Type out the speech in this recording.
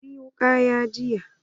Ta ari wukan jiya.